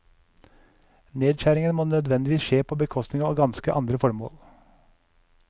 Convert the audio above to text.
Nedskjæringene må nødvendigvis skje på bekostning av ganske andre formål.